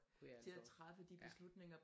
Kunne jeg altså også ja